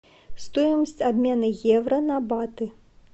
стоимость обмена евро на баты